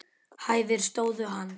Hæfir stöðu hans.